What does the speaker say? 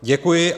Děkuji.